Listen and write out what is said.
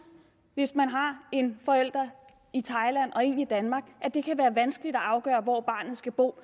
hvis man har en forælder i thailand og en i danmark at det kan være vanskeligt at afgøre hvor barnet skal bo